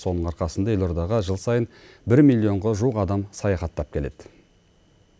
соның арқасында елордаға жыл сайын бір миллионға жуық адам саяхаттап келеді